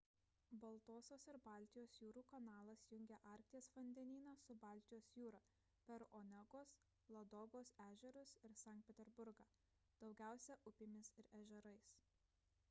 baltosios ir baltijos jūrų kanalas jungia arkties vandenyną su baltijos jūra per onegos ladogos ežerus ir sankt peterburgą daugiausia upėmis ir ežerais